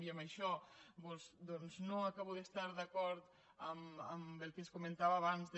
i en això no acabo d’estar d’acord amb el que es comentava abans de